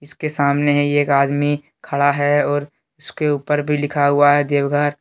उसके सामने ही एक आदमी खड़ा है और उसके ऊपर भी लिखा हुआ है देवघर।